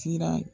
Siran